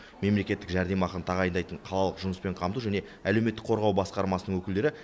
мемлекеттік жәрдемақыны тағайындайтын қалалық жұмыспен қамту және әлеуметтік қорғау басқармасының өкілдері